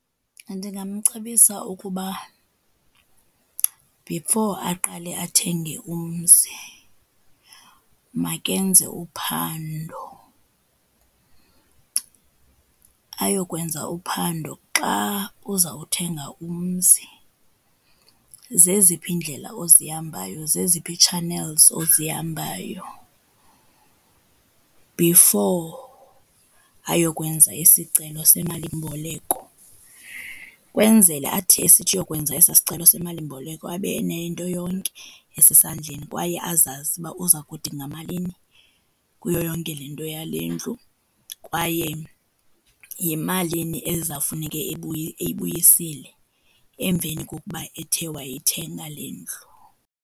Ndingamcebisa ukuba before aqale athenge umzi makenze uphando. Ayokwenza uphando xa uzawuthenga umzi zeziphi iindlela ozihambayo, zeziphi ii-channels ozihambayo before ayokwenza isicelo semalimboleko. Kwenzela athi esithi uyokwenza esaa sicelo semalimboleko, abe enento yonke esesandleni kwaye azazi uba uza kudinga malini kuyo yonke le nto yale ndlu. Kwaye yimalini ezawufuneke eyibuyisile emveni kokuba ethe wayithenga le ndlu.